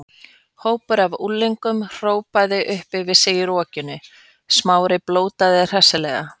Hópur af unglingum hrópaði upp yfir sig í rokinu, Smári blótaði hressilega.